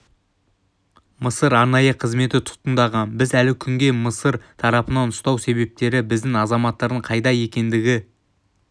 мысыр арнайы қызметі тұтқындаған біз әлі күнге мысыр тарапынан ұстау себептері біздің азаматтардың қайда екендігі